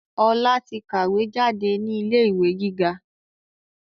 Ọlá tí kàwé jáde ní ilé ìwé gíga